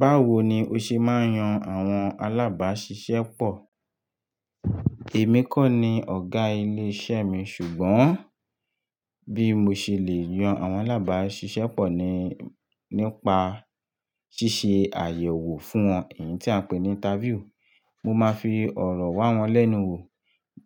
Báwo ni ó ṣe máa ń yan àwọn alábáṣiṣẹ́ pọ̀? Èmi kọ́ ni ọ̀gá ilé iṣẹ́ mi, ṣùgbọ́n bí mo ṣe lè yan àwọn alábáṣiṣẹ́ pọ̀ ni, nípa ṣíṣe àyẹ̀wò fún wọn, èyí tí a ń pè ní interview. Mo máa fi ọ̀rọ̀ wá wọn lẹ́nu wò